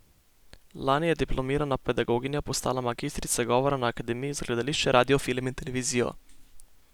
Lani je diplomirana pedagoginja postala magistrica govora na Akademiji za gledališče, radio, film in televizijo.